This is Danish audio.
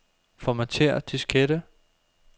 Formatér diskette.